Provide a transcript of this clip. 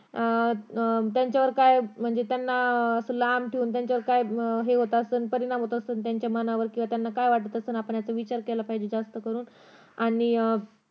अं त्यांच्यावर काय म्हणजे त्यांना अं असं लांब ठेऊन त्यांच्यावर काय हे होत असेल परिणाम होत असेल त्याच्या मनावर किंवा त्यांना काय वाटत असेल याचा विचार केला पाहिजे जास्त करून